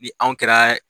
Ni anw kɛra